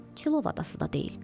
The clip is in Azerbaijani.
Çilov adası da deyil.